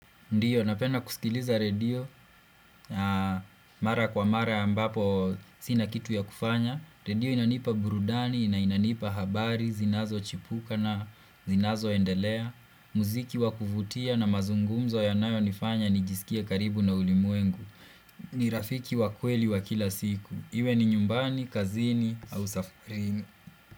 Ndiyo, napenda kusikiliza redio, mara kwa mara ambapo sina kitu ya kufanya, redio inanipa burudani, na inanipa habari, zinazochipuka na zinazoendelea, muziki wa kuvutia na mazungumzo yanayonifanya nijisikie karibu na ulimwengu, ni rafiki wa kweli wa kila siku, iwe ni nyumbani, kazini, au safarini.